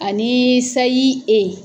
Ani sayi e